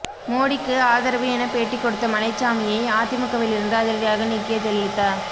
மோடிக்கு ஆதரவு என பேட்டி கொடுத்த மலைச்சாமியை அதிமுக விலிருந்து அதிரடியாக நீக்கிய ஜெயலலிதா